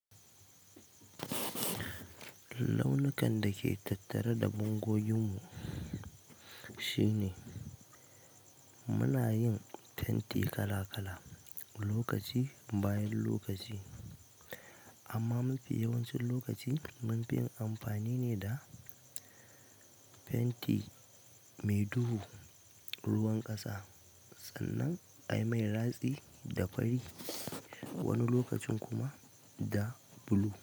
Launukan da ke tattare da bango yin mu shine muna yin fenti kala-kala lokaci bayan lokaci, amma mafi yawancin lokaci mun fi amfani ne da fenti mai duhu, ruwan ƙasa sannan ai mai latsi da fari wani lokacin kuma da blue.